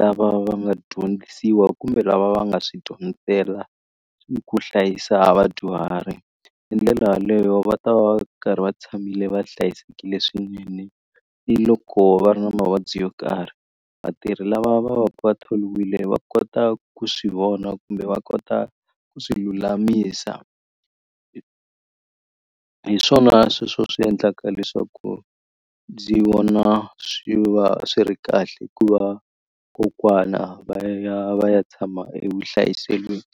lava va nga dyondzisiwa kumbe lava va nga swi dyondzela ku hlayisa vadyuhari hi ndlela yaleyo va ta va karhi va tshamile va hlayisekile swinene ni loko va ri na mavabyi yo karhi vatirhi lava va va ku va tholiwile va kota ku swi vona kumbe va kota ku swi lulamisa hi swona sweswo swi endlaka leswaku ndzi vona swi va swi ri kahle ku va kokwana va ya va ya tshama evuhlayiselweni.